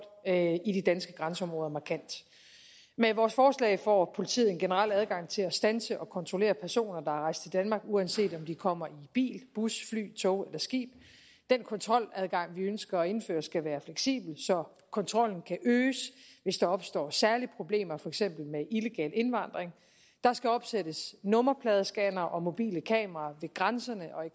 i de danske grænseområder markant med vores forslag får politiet en generel adgang til at standse og kontrollere personer der er rejst til danmark uanset om de kommer i bil bus fly tog eller skib den kontroladgang vi ønsker at indføre skal være fleksibel så kontrollen kan øges hvis der opstår særlige problemer for eksempel med illegal indvandring der skal opsættes nummerpladescannere og mobile kameraer ved grænserne og i